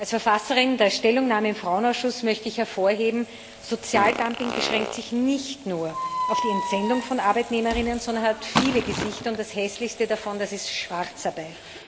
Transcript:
Als Verfasserin der Stellungnahme im Frauenausschuss möchte ich hervorheben Sozialdumping beschränkt sich nicht nur auf die Entsendung von Arbeitnehmerinnen, sondern hat viele Gesichter, und das hässlichste davon ist die Schwarzarbeit.